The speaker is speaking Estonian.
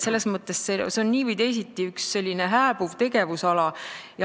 Selles mõttes on see nii või teisiti hääbuv tegevusala.